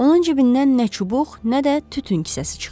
Onun cibindən nə çubuq, nə də tütün kisəsi çıxdı.